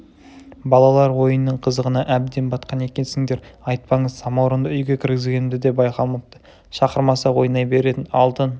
балалар ойынның қызығына әбден батқан екенсіңдер айтпаңыз самауырынды үйге кіргізгенімді де байқамапты шақырмаса ойнай беретін алтын